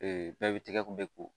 bɛɛ bɛ tigɛ kun bɛ ko